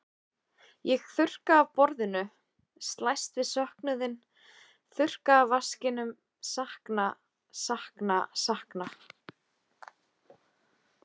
Ég þurrka af borðinu, slæst við söknuðinn, þurrka af vaskinum, sakna, sakna, sakna.